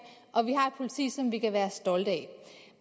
og vi har et politi som vi kan være stolte af